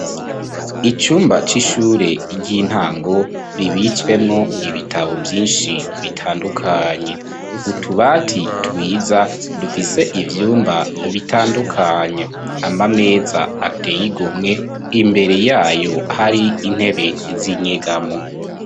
Icumba c'ishure ry'intango kibitswemwo ibitabo vyinshi bitandukanye, utubati twiza dufise ivyumba bitandukanye. Amameza ateye igomwe imbere yayo hari intebe z'inyegamo.